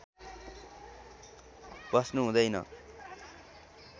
बस्नु हुँदैन